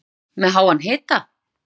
Elísabet: Með háan hita?